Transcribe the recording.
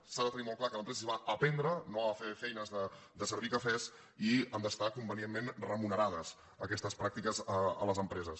s’ha de tenir molt clar que a l’empresa s’hi va a aprendre no a fer feines de servir cafès i han d’estar convenientment remunerades aquestes pràctiques a les empreses